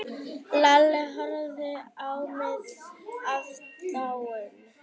Lalli horfði á með aðdáun.